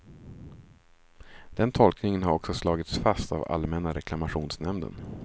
Den tolkningen har också slagits fast av allmänna reklamationsnämnden.